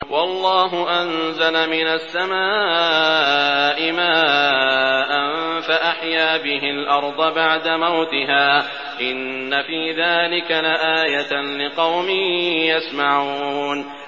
وَاللَّهُ أَنزَلَ مِنَ السَّمَاءِ مَاءً فَأَحْيَا بِهِ الْأَرْضَ بَعْدَ مَوْتِهَا ۚ إِنَّ فِي ذَٰلِكَ لَآيَةً لِّقَوْمٍ يَسْمَعُونَ